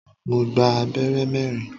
Mo gba abẹ́rẹ́ mẹ́rin.